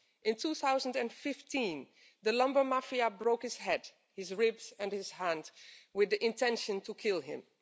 In 2015, the lumber mafia' broke his head, his ribs, and his hand with the intention to kill him.